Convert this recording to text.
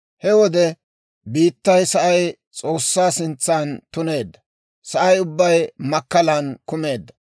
He wode biittay sa'ay S'oossaa sintsan tuneedda; sa'ay ubbay makkalan kumeedda.